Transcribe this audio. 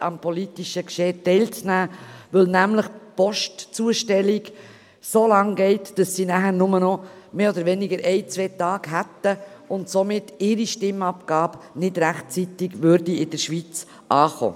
am politischen Geschehen teilzunehmen, weil die Postzustellung so lange dauert, dass diese Personen nur noch einen oder zwei Tage Zeit hätten, und somit ihre Stimmabgabe nicht rechtzeitig in der Schweiz ankäme.